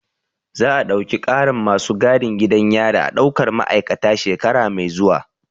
Za a ɗauki ƙarin masu gadin gidan yari a ɗaukar ma'aikata shekara mai zuwa